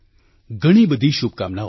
ઘણી બધી શુભકામનાઓ